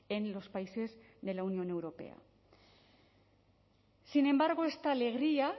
en los países de la unión europea sin embargo esta alegría